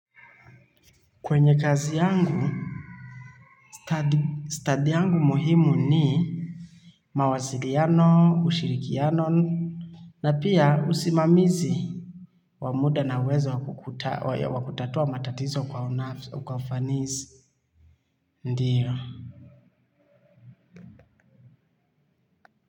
Kwenye kazi yangu, study yangu muhimu ni mawasiliano, ushirikiano, na pia usimamizi. W amuda na uwezo wakutatua matatizo kwa ufanisi, ndiyo.